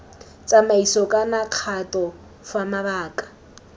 tsamaiso kana kgato fa mabaka